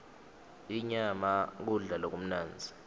inyama kudla lokumnandzi